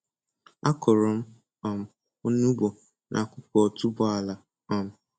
A kụrụ m um onugbu nakụkụ otuboala. um